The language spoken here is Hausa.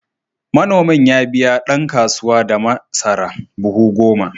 Manomin ya biya ɗan kasuwa da masara buhu goma.